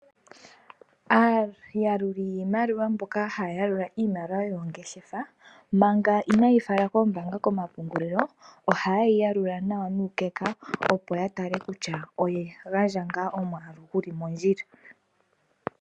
Aayaluli yiimaliwa mboka haya yalula iimaliwa yoongeshefa manga ina yeyi fala koombanga komapungulilo ohayeyi yalula nawa nuukeka opo ya tale kutya oyagandja nga omwalu guli mondjila.